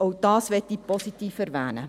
Auch dies möchte ich positiv erwähnen.